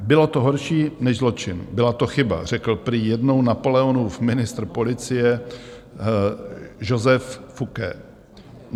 "Bylo to horší než zločin, byla to chyba," řekl prý jednou Napoleonův ministr policie Joseph Fouché.